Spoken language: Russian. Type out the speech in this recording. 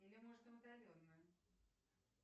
или можно удаленно